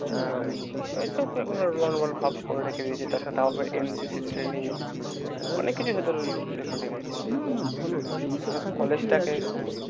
এই সব ভাব করে রেখে দিয়েছে তারপর NCC training অনেক কিছু ভিতরে রেখেছে। না না ভালো তাহলে এইসব থাকলে কি আছে college টাকে